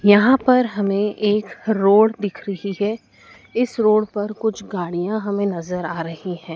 यहां पर हमे एक रोड दिख रही है इस रोड पर कुछ गाड़ियां हमे नज़र आ रही है।